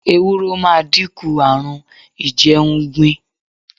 Ewúro máa dínkù àrùn a ìjẹun gbìn.